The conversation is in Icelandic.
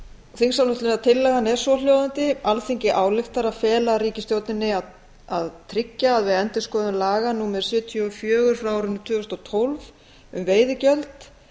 þingsályktunartillagan er svohljóðandi alþingi ályktar að fela ríkisstjórninni að tryggja að við endurskoðun laga númer sjötíu og fjögur tvö þúsund og tólf um veiðigjöld